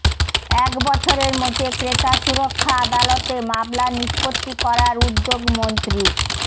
এক বছরের মধ্যে ক্রেতাসুরক্ষা আদালতে মামলার নিষ্পত্তি করার উদ্যোগ মন্ত্রীর